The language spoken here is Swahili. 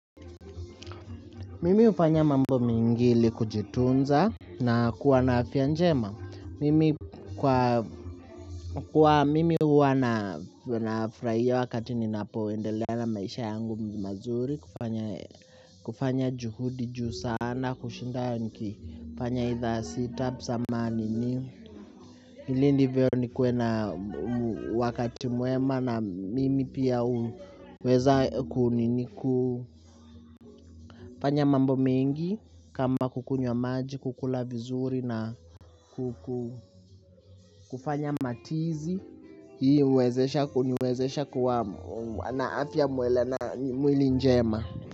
Mimi hufanya mambo mingi ili kujitunza na kuwa na afya njema. Mimi huwa nafrahia wakati nina poendelea na maisha yangu mazuri kufanya juhudi juhu sana kushindayo niki panya ita sitap zamani ni ili ndivyo nikue na wakati mwema na mimi pia huweza kuni fanya mambo mengi. Kama kukunywa maji, kukula vizuri na kufanya matizi hii huniwezesha kuwa na mwili njema.